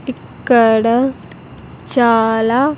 ఇక్కడ చాలా.